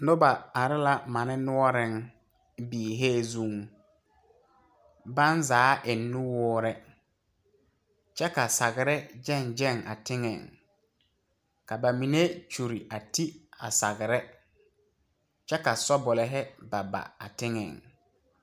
Nobɔ are la mane noɔreŋ biihee zuŋ baŋ zaa eŋ nuwoore kyɛ ka sagre gyɛŋ gyɛŋ a teŋɛŋ ka ba mine kyure a ti sagre kyɛ ka sɔbulihi ba a teŋɛŋ.